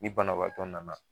I bana baatɔ nana